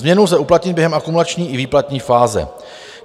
Změnu lze uplatnit během akumulační i výplatní fáze.